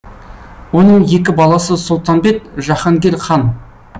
оның екі баласы сұлтанбет жаһангер хан